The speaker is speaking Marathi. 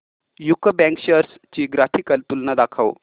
यूको बँक शेअर्स ची ग्राफिकल तुलना दाखव